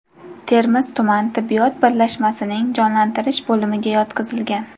Termiz tuman tibbiyot birlashmasining jonlantirish bo‘limiga yotqizilgan.